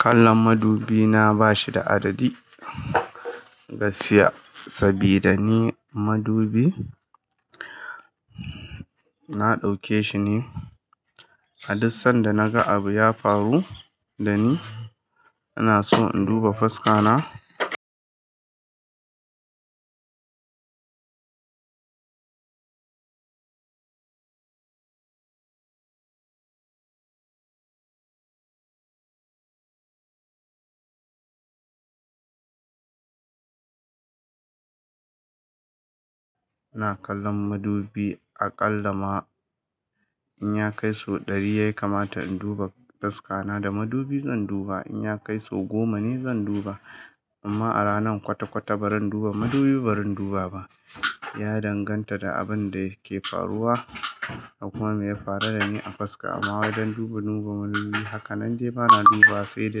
Kallon madubi na ba shi da adadi gaskiya sabida ni madubi na dauke shi ne. A duk sanda naga abu ya faru da ni, ina so in duba fuska na. iNa kallon madubi aƙalla ma in ya kai so ɗari ya kamata in duba fuska na da madubi zan duba. In ya kai so goma ne zan duba. Amma a ranan kwata-kwata ba ran duba madubi ba ran duba ba. Ya danganta da abin da ke faruwa da kuma me ya faru da ni a fuska. Amma wai don duba, duba madubi haka nan dai ba na duba sai da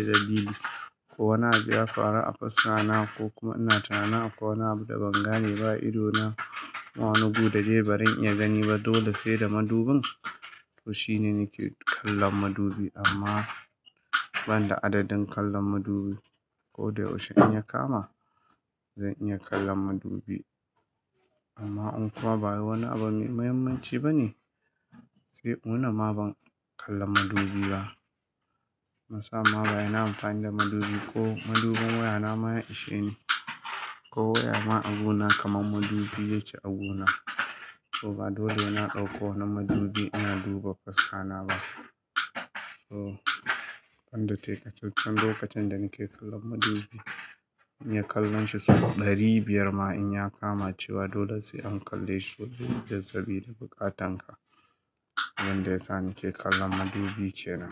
dalili ko wani abu ya faru a fuska na ko kuma ina tunanin akwai wani abu da ban gane ba a idona ma wani gu da dai ba ran iya gani ba. Dole sai da madubin. To shine nike kallon madubi amma ban da adadin kallon madubi. Ko dai yaushe in ya kama zan iya kallon madubi. Amma un kuma ba wani abu mai muhimmanci bane. Sai ina wuni ma ban kallon madubi ba. Na sama ba yana amfani da madubi ko madubin waya na ma ya ishe ni ko waya ma abu na kamar madubi ya ke agu na. To ba dole ina ɗauko na madubi ina duba faska na ba. To, ban da takacacan lokacin da nake kallon madubi, in ya kallon shi sau ɗari biyar ma in ya kama cewa dole sai an kalle shi sabida buƙatan ka. Wanda yasa nike kallon madubi ce nan.